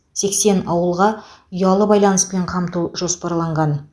сексен ауылға ұялы байланыспен қамту жоспарланған